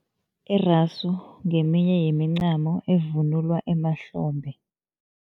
Irasu ngeminye yemincamo, evunulwa emahlombe.